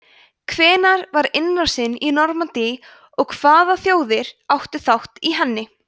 hvenær var innrásin í normandí og hvaða þjóðir áttu þátt í henni